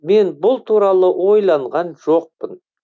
мен бұл туралы ойланған жоқпын